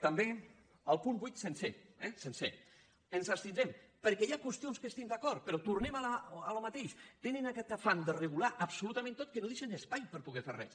també al punt vuit sencer eh sencer ens abstin·drem perquè hi ha qüestions en què estem d’acord però tornem al mateix tenen aquesta fam de regu·lar·ho absolutament tot que no deixen espai per po·der fer res